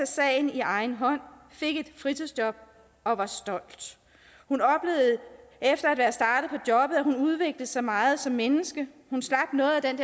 sagen i egen hånd fik et fritidsjob og var stolt efter at at hun udviklede sig meget som menneske hun slap noget af den